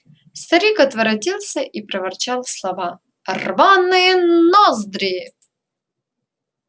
старик отворотился и проворчал слова рваные ноздри